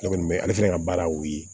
Ne kɔni bɛ ale fɛnɛ ka baara y'o ye